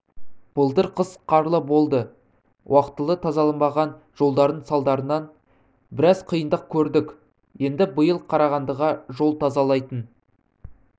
былтыр қыс қарлы болды уақтылы тазаланбаған жолдардың салдарынан біраз қиындық көрдік енді биыл қарағандыға жол тазалайтын